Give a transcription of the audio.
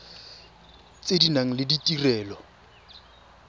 tse di nang le ditirelo